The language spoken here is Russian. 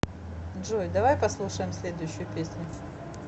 джой давай послушаем следующую песню